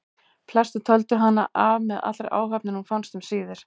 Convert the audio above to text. Flestir töldu hana af með allri áhöfn en hún fannst um síðir.